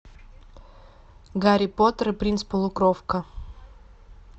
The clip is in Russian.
гарри поттер и принц полукровка